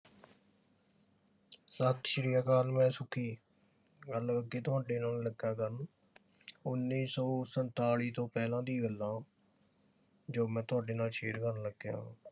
ਸਤ ਸ੍ਰੀ ਅਕਾਲ ਮੈਂ ਸੁਖੀ ਗੱਲ ਕੀ ਤੁਹਾਡੇ ਨਾਲ ਲੱਗਾ ਕਰਨ ਉੱਨੀ ਸੌ ਸੰਤਾਲੀ ਤੋਂ ਪਹਿਲਾਂ ਦੀਆਂ ਗੱਲਾਂ ਜੋ ਮੈਂ ਤੁਹਾਡੇ ਨਾਲ share ਕਰਨ ਲੱਗਿਆ।